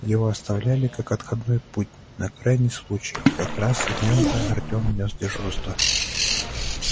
его оставляли как отходной путь на крайний случай и как раз в нем-то артём нёс дежурство